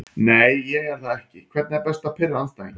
Nei ég er það ekki Hvernig er best að pirra andstæðinginn?